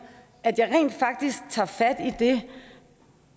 at jeg rent faktisk tager fat i det